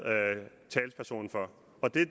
talsperson for